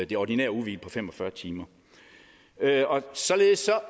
det ordinære ugehvil på fem og fyrre timer således